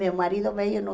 Meu marido veio no